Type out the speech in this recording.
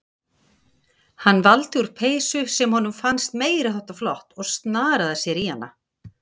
Hann valdi úr peysu sem honum fannst meiri háttar flott og snaraði sér í hana.